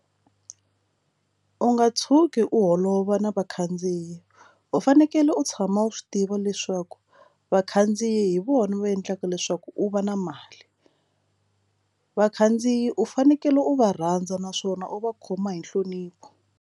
U nga tshuki u holova na vakhandziyi u fanekele u tshama u swi tiva leswaku vakhandziyi hi vona va endlaka leswaku u va na mali vakhandziyi u fanekele u va rhandza naswona u va khoma hi nhlonipho.